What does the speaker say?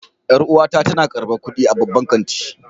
Yar'uwata tana karbar kudi a babban kanti.